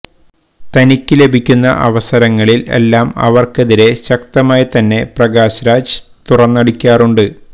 തനിക്ക് ലഭിക്കുന്ന അവസരങ്ങളില് എല്ലാം അവര്ക്കെതിരെ ശക്തമായി തന്നെ പ്രകാശ് രാജ് തുറന്നടിക്കാറുണ്ട്